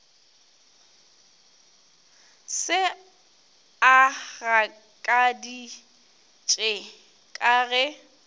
se a gakaditše ka ge